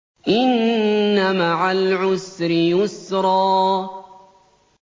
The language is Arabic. إِنَّ مَعَ الْعُسْرِ يُسْرًا